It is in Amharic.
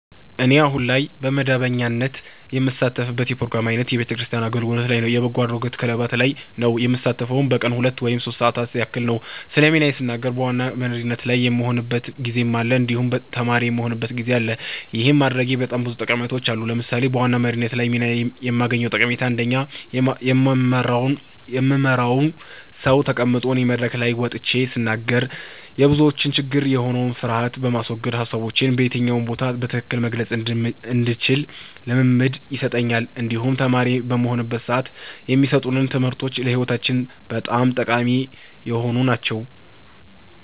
እኔ አሁን ላይ በመደበኛነት የምሳተፍበት የፕሮግራም አይነት የቤተክርስቲያን አገልግሎት ላይ እና የበጎ አድራጎት ክለባት ላይ ነዉ። የምሳተፈዉም በቀን ለሁለት ወይም ሶስት ሰዓታት ያክል ነዉ። ስለ ሚናዬ ስናገር በዋና በመሪነት ላይ የምሆንበትም ጊዜ አለ እንዲሁም ተማሪ የምሆንበትም ጊዜ አለ ይህን ማድረጌ በጣም ብዙ ጠቀሜታዎች አሉት። ለምሳሌ በዋና መሪነት ሚና ላይ የማገኘዉ ጠቀሜታ አንደኛ የምመራዉ ሰዉ ተቀምጦ እኔ መድረክ ላይ ወጥቼ ስናገር የብዙዎች ችግር የሆነዉን ፍርሀትን በማስወገድ ሀሳቦቼን በየትኛው ቦታ በትክክል መግለፅ እንድችል ልምምድን ይሰጠኛል እንዲሁም ተማሪ በምሆንበት ሰዓትም የማሰጡን ትምህርቶች ለህይወታችን በጣም ጠቃሚ የሆኑ ናቸዉ።